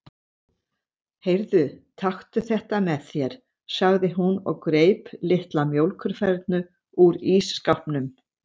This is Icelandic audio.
Heyrðu, taktu þetta með þér, sagði hún og greip litla mjólkurfernu úr ísskápnum.